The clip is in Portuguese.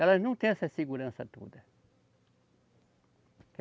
Elas não tem essa segurança toda.